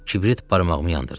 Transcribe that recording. Kibrit barmağımı yandırdı.